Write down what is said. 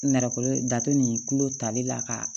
Nɛrɛ dato nin kulo tali la ka